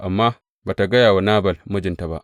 Amma ba tă gaya wa Nabal, mijinta ba.